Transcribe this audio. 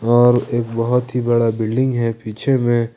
और एक बहुत ही बड़ा बिल्डिंग है पीछे में।